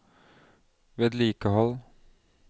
vedlikehold